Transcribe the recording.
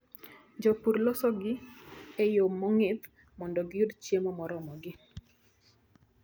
Jopur losogi e yo mong'ith mondo giyud chiemo moromogi.